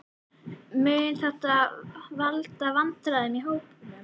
Mun þetta valda vandræðum í hópnum?